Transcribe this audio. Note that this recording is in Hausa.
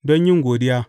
Don yin godiya.